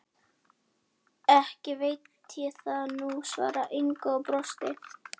Ekki veit ég það nú, svaraði Inga og brosti.